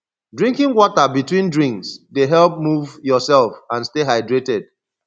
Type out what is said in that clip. drinking water between drinks dey help move yourself and stay hydrated